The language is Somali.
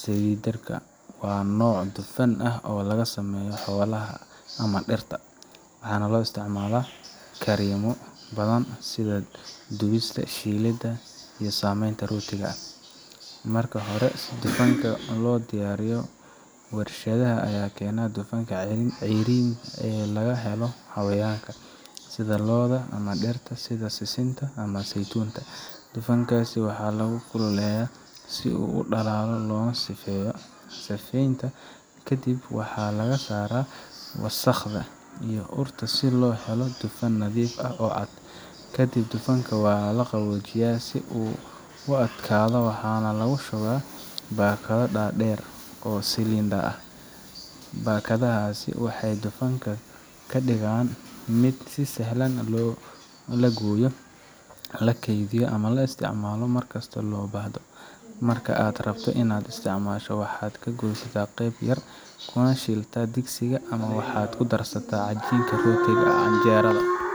silindarka ah waa nooc dufan ah oo laga sameeyo xoolaha ama dhirta, waxaana loo isticmaalaa karinno badan sida dubista, shiilidda iyo sameynta rootiga. Marka hore, si dufankaan loo diyaariyo, warshadaha ayaa keena dufanka ceeriin ee laga helo xayawaanka sida lo’da ama dhirta sida sisinta ama saytuunka. Dufankaas waxaa la kululeeyaa si uu u dhalaalo loona sifeeyo. Sifeynta kadib, waxa laga saaraa wasakhda iyo urta si loo helo dufan nadiif ah oo cad. Kadib dufanka waa la qaboojiyaa si uu u adkaado, waxaana lagu shubaa baakado dhaadheer oo silindar ah. Baakadahaasi waxay dufanka ka dhigaan mid sahlan in la gooyo, la keydiyo, lana isticmaalo mar kasta oo loo baahdo. Marka aad rabto in aad isticmaasho, waxaad ka goysaa qayb yar, kuna shiiltaa digsiga, ama waxaad ku darsataa cajiinka rootiga, canjeerada